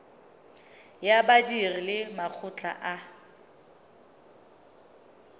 ya badiri le makgotla a